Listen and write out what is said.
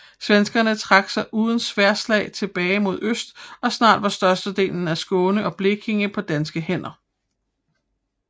Svenskerne trak sig uden sværdslag tilbage mod øst og snart var størstedelen af Skåne og Blekinge på danske hænder